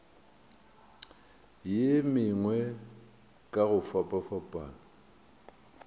ye mengwe ka go fapafapana